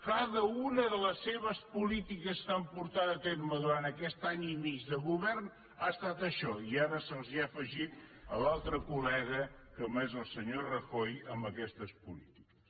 cada una de les seves polítiques que han portat a terme durant aquest any i mig de govern ha estat això i ara se’ls ha afegit l’altre colaquestes polítiques